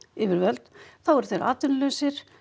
yfirvöld þá eru þeir atvinnulausir